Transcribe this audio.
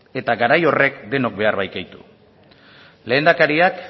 eta garai horren denok behar baikaitu lehendakariak